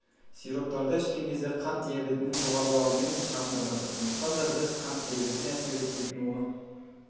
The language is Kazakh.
сироптарды ішкен кезде қант диабетінің жоғарылауымен шағымданады сондықтан да біз қант диабетіне әсер етпейтін оның